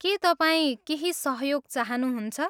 के तपाईँ केही सहयोग चाहनुहुन्छ?